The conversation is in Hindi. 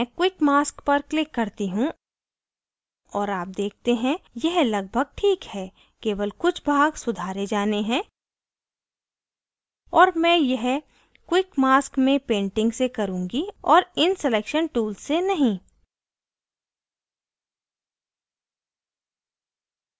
मैं quick mask पर click करती हूँ और आप देखते हैं यह लगभग ठीक है केवल कुछ भाग सुधारे जाने हैं और मैं यह quick mask में painting से करुँगी और इन selection tools से नहीं